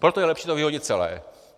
Proto je lepší to vyhodit celé.